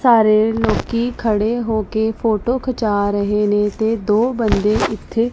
ਸਾਰੇ ਲੋਕੀ ਖੜੇ ਹੋ ਕੇ ਫੋਟੋ ਖਿਚਾ ਰਹੇ ਨੇ ਤੇ ਦੋ ਬੰਦੇ ਇੱਥੇ --